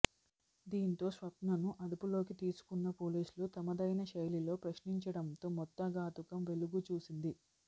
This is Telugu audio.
దీంతో స్వప్నను అదుపులోకి తీసుకున్న పోలీసులు తమదైన శైలిలో ప్రశ్నించడంతో మొత్తం ఘాతుకం వెలుగుచూసింది